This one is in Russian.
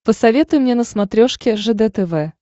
посоветуй мне на смотрешке ржд тв